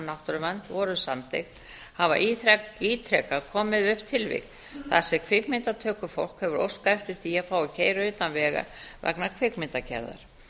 náttúruvernd voru samþykkt hafa ítrekað komið upp tilvik þar sem kvikmyndatökufólk hefur óskað eftir því að fá að keyra utan vega vegna kvikmyndagerðar